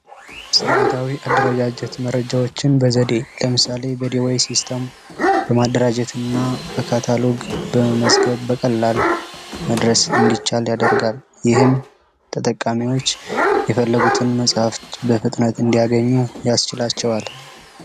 ስርዓታዊ አደረጃጀት መረጃዎችን በዘዴ ለምሳሌ በዲዋይ ሲስተም በማደራጀትና በካታሎግ በመመዝገብ በቀላል እንዲደርስ ማድረግ ይቻላል፣ ይህም ተጠቃሚዎች የፈለጉትን መጽሐፍ በፍጥነት እንዲያገኙ ያስችላቸዋል።